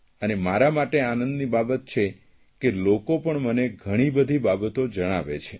અને મારા માટે આનંદની બાબત છે કે લોકો પણ મને ઘણી બધી બાબતો જણાવે છે